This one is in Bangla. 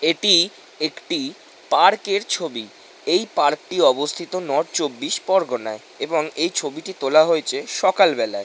এটি একটি পার্ক এর ছবি এই পার্ক টি অবস্থিত নর্থ চব্বিশ পরগনায় এবং এই ছবিটি তোলা হয়েছে সকালবেলায় ।